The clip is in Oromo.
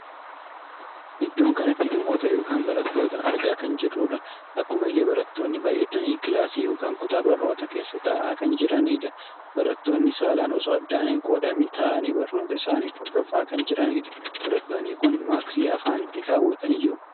Iddoon kanatti namoota ykn barattoota argaa kan jirrudha. akkaauma illee barattoonni baay'atanii kilaasii ykn kutaa barnootaa keessa taa'aa kan jiranidha. barattoonni saalaan osoo addaan hin qoodamin taa'anii barnoota isaanii hordofaa kan jiranidha. barattoonni kun maaksii afaanitti kaawwatanii jiru.